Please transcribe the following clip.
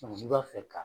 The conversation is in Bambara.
n'i b'a fɛ ka